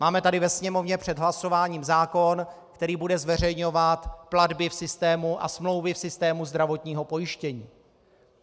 Máme tady ve Sněmovně před hlasováním zákon, který bude zveřejňovat platby v systému a smlouvy v systému zdravotního pojištění.